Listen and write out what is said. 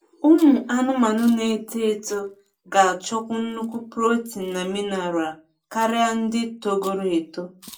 ụmụ anụmanụ na eto eto ga achọkwu nnukwu protein na mineral karia ndị togoro eto